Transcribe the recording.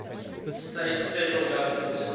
states federal government